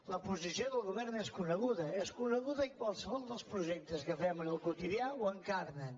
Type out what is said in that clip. la posició del govern és coneguda és coneguda i qualsevol dels projectes que fem en el quotidià ho encarna